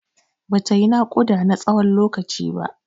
Bata yi naƙuda na tsawon lokaci ba.